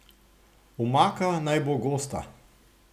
Omaka naj bo gosta.